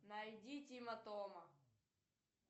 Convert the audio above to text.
найди тима тома